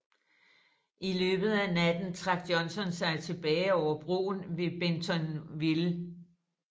I løbet af natten trak Johnston sig tilbage over broen ved Bentonville